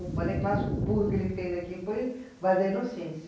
O balé clássico puro que ele fez aqui foi Vale da Inocência.